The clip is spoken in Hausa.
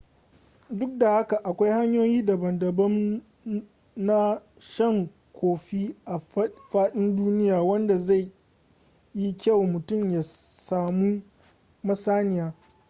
duk da haka akwai hanyoyi daban-daban na shan kofi a faɗin duniya wanda zai yi kyau mutum ya samu masaniya